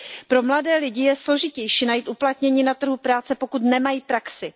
Pro mladé lidi je složitější najít uplatnění na trhu práce, pokud nemají praxi.